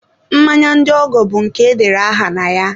mmanya ndị ọgọ bụ nke edere aha na ya.